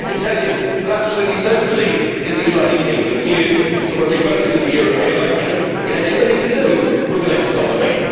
Well I can tell you that absolutely nobody in the United Kingdom knew that when they voted in the European elections it had anything to do with the next nominee.